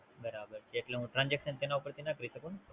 બરાબર છે એટલે હું Transaxon તેના ઉપર થી ના કરી શકું ને?